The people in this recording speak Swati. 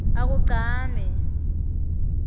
akugcame